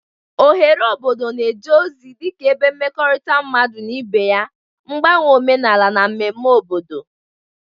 Oghere obodo na-eje ozi dị ka ebe mmekọrịta mmadụ na ibe ya, mgbanwe omenala, na mmemme obodo.